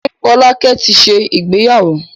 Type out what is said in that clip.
Ṣé Fọlákẹ́ ti ṣe ìgbéyàwó?